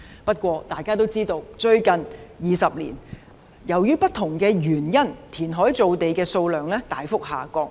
不過，大家都知道，在最近20年由於不同的原因，填海造地的數量大幅下降。